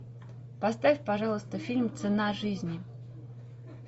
поставь пожалуйста фильм цена жизни